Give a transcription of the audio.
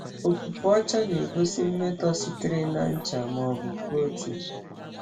Ọfụfụ ọcha na-egosi mmetọ sitere na ncha ma ọ bụ protein.